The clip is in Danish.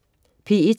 P1: